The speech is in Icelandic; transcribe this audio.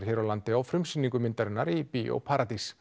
hér á landi á frumsýningu myndarinnar í Bíó paradís